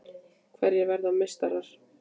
Hverjir verða meistarar?